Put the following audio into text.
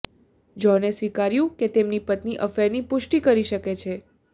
જ્હોને સ્વીકાર્યું કે તેમની પત્ની અફેરની પુષ્ટિ કરી શકે છે